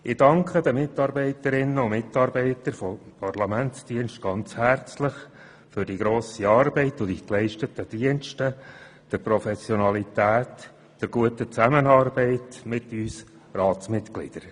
Ich danke den Mitarbeiterinnen und Mitarbeitern der Parlamentsdienste ganz herzlich für die grosse Arbeit und die geleisteten Dienste, deren Professionalität und die gute Zusammenarbeit mit uns Ratsmitgliedern.